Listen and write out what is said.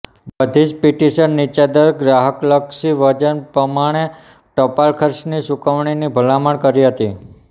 બધી જ પીટીશન નીચા દર ગ્રાહકલક્ષી વજન પમાણે ટપાલ ખર્ચની ચુકવણીની ભલામણ કરતી હતી